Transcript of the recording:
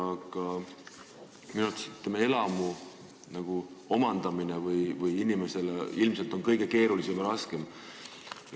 Aga minu arvates on see, kui riik omandab elamu, inimesele ilmselt kõige keerulisem ja raskem.